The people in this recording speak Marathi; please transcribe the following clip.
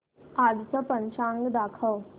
आजचं पंचांग दाखव